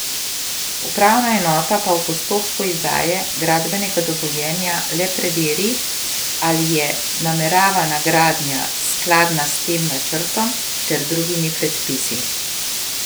Upravna enota pa v postopku izdaje gradbenega dovoljenja le preveri, ali je nameravana gradnja skladna s tem načrtom ter drugimi predpisi.